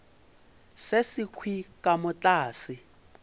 se sekhwi ka mo tlase